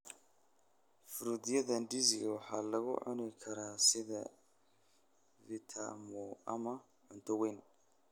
Fruityada ndizi waxaa lagu cuni karaa sida vitafunio ama cunto weyn.